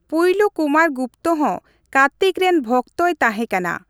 ᱯᱩᱭᱞᱩ ᱠᱩᱢᱟᱨ ᱜᱩᱯᱛᱚ ᱦᱚᱸ ᱠᱟᱨᱛᱤᱠ ᱨᱮᱱ ᱵᱷᱠᱛᱚᱭ ᱛᱟᱸᱦᱮ ᱠᱟᱱᱟ ᱾